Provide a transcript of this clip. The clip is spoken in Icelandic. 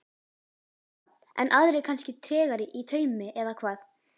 Birta: En aðrir kannski tregari í taumi eða hvað?